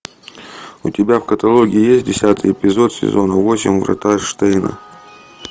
у тебя в каталоге есть десятый эпизод сезона восемь врата штейна